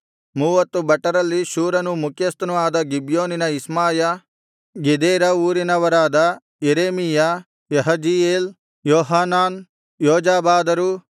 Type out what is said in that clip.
ಮೂವತ್ತು ಭಟರಲ್ಲಿ ಶೂರನು ಮುಖ್ಯಸ್ಥನು ಆದ ಗಿಬ್ಯೋನಿನ ಇಷ್ಮಾಯ ಗೆದೇರಾ ಊರಿನವರಾದ ಯೆರೆಮೀಯ ಯಹಜೀಯೇಲ್ ಯೋಹಾನಾನ್ ಯೋಜಾಬಾದರು